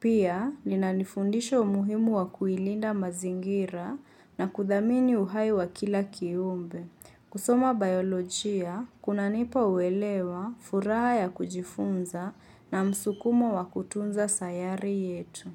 Pia linanifundisha umuhimu wa kuilinda mazingira na kudhamini uhai wa kila kiumbe. Kusoma biolojia, kunanipa uelewa furaha ya kujifunza na msukumo wa kutunza sayari yetu.